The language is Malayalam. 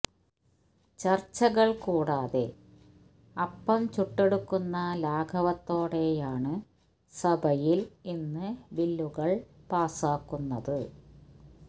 ചര്ച്ചകള് കൂടാതെ അപ്പം ചുട്ടെടുക്കുന്ന ലാഘവത്തോടെയാണ് സഭയില് ഇന്ന് ബില്ലുകള് പാസ്സാക്കുന്നത്